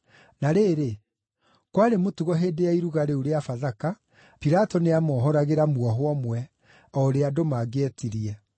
Na rĩrĩ, kwarĩ mũtugo hĩndĩ ya Iruga rĩu rĩa Bathaka, Pilato nĩamohoragĩra mwohwo ũmwe, o ũrĩa andũ mangĩetirie.